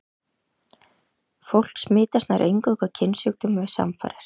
Fólk smitast nær eingöngu af kynsjúkdómum við samfarir.